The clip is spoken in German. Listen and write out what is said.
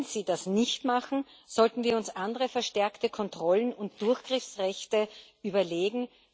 Wenn sie das nicht machen, sollten wir uns andere verstärkte Kontrollen und Durchgriffsrechte überlegen.